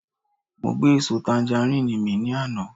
Mo gbé èso tanjarín mì ní àná